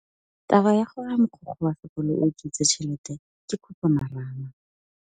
Taba ya gore mogokgo wa sekolo o utswitse tšhelete ke khupamarama.